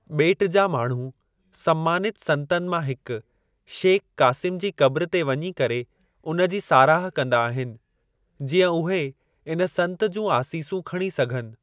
ॿेट जा माण्हू सम्मानित संतनि मां हिक, शेख कासिम जी कब्र ते वञी करे उन जी साराह कंदा आहिनि, जीअं उहे इन संत जूं आसीसूं खणी सघनि।